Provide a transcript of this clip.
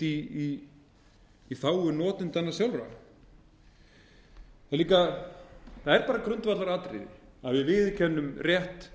nhytst í þágu notendanna sjálfra það er grundvallaratriði að við viðurkennum rétt